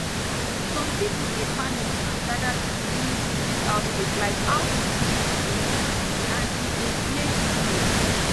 some people dey panic and gather things during sickness outbreak like how some groups dey do and e dey delay treatment